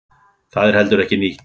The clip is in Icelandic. Það er heldur ekki nýtt.